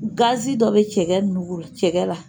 Gazi dɔ bɛ cɛkɛ ninnugu la cɛkɛ la.